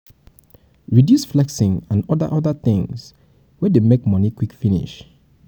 you fit dey do automatic savings for your account for when e go red